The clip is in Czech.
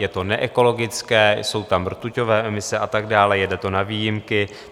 Je to neekologické, jsou tam rtuťové emise a tak dále, jede to na výjimky.